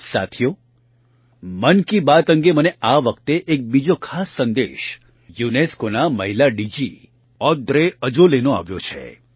સાથીઓ મન કી બાત અંગે મને આ વખતે એક બીજો ખાસ સંદેશ UNESCOનાં મહિલા D G Audrey Azoulay Audrey Azoulay નો આવ્યો છે